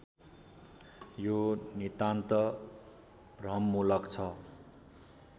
यो नितान्त भ्रममूलक छ